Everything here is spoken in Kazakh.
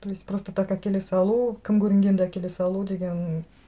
то есть просто так әкеле салу кім көрінгенді әкеле салу деген